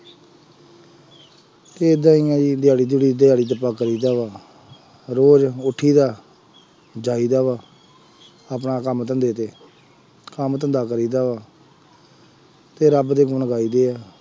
ਏਦਾਂ ਹੀ ਹੈ ਬਈ ਦਿਹਾੜੀ ਦਿਹੂੜੀ ਦਿਹਾੜੀ ਚ ਰੋਜ਼ ਉੱਠੀਦਾ, ਜਾਈਦਾ ਵਾ, ਆਪਣਾ ਕੰਮ ਧੰਦੇ ਤੇ, ਕੰਮ ਧੰਦਾ ਕਰੀਦਾ ਵਾ ਅਤੇ ਰੱਬ ਦੇ ਗੁਣ ਗਾਈਦੇ ਹੈ।